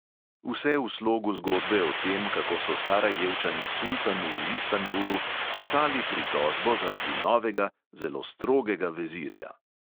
Vse v slogu zgodbe o tem, kako so sarajevčani sultanu v istanbulu pisali pritožbo zaradi novega, zelo strogega vezirja.